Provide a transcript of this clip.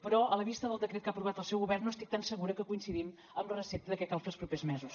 però a la vista del decret que ha aprovat el seu govern no estic tan segura que coincidim amb la recepta de què cal fer els propers mesos